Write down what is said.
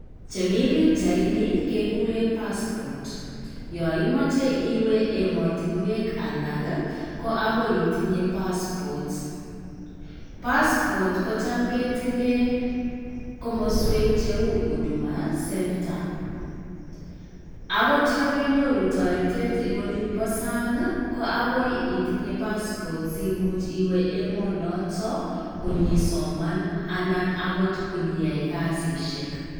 Chemi pichaini kekure passport. Yoo imoche iwe emotinwek alak, ko agoi itinye Passport. Passport kocham ketilee komaswek cheu Huduma Centre. Agot yon kenyoru taretet en olinbo sang', ko agoi itinye passport simuch iwe emonotoo konyeisoman anan agot konyeyai kasishek.